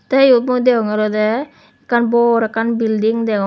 te yot mui deonge olode ekkan bor ekkan bilding deong.